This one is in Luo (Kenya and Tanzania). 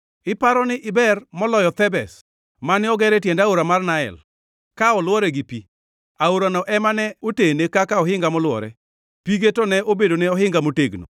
Iparo ni iber moloyo Thebes mane oger e tiend aora mar Nael, ka olwore gi pi? Aorano ema ne otene kaka ohinga molwore, pige to ne obedone ohinga motegno.